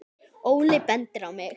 Óli bendir á mig: